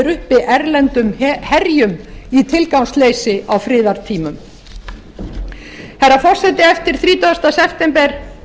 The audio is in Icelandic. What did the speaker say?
uppi erlendum herjum í tilgangsleysi á friðartímum herra forseti eftir þrítugasta september